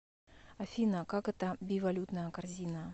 афина как это бивалютная корзина